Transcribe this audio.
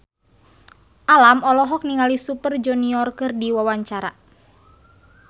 Alam olohok ningali Super Junior keur diwawancara